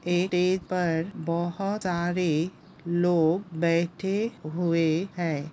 पर बोहोत सारे लोग बैठे हुए है ।